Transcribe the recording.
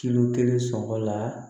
Kilo kelen sɔgɔla